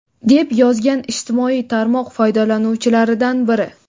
deb yozgan ijtimoiy tarmoq foydalanuvchilaridan biri.